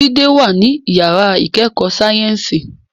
Jide wà ní yàrá ìkẹ́kọ̀ọ́ sáyẹ́ǹsì